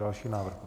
Další návrh.